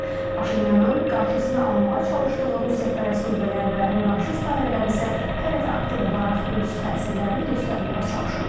Paşinyanın qarşısını almağa çalışdığı Rusiyapərəst qüvvələr və revanşist dairələr isə hələ də aktiv olaraq öz təsirlərini göstərməyə çalışırlar.